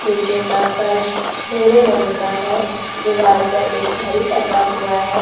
नीचे का फर्श भूरे रंग का है दीवार पर एक घड़ी टंगा हुआ है।